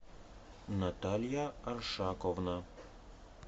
наталья аршаковна